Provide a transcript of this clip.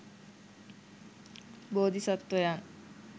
බෝධි සත්වයන්